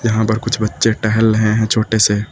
यहां पर कुछ बच्चे टहल रहे हैं छोटे से।